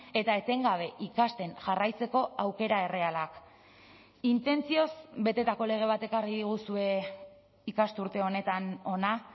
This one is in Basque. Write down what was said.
eta etengabe ikasten jarraitzeko aukera errealak intentzioz betetako lege bat ekarri diguzue ikasturte honetan hona